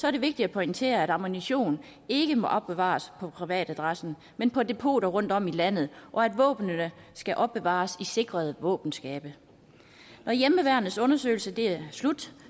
er det vigtigt at pointere at ammunition ikke må opbevares på privatadressen men på depoter rundtom i landet og at våbnene skal opbevares i sikrede våbenskabe når hjemmeværnets undersøgelse er slut